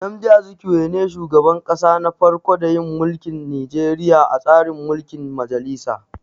Nnamdi Azikwe ne shugaban kasa na farko da yin mulkin Nijeriya a tsarin mulkin majalisa